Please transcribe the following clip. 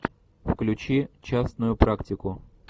включи частную практику